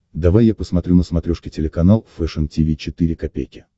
давай я посмотрю на смотрешке телеканал фэшн ти ви четыре ка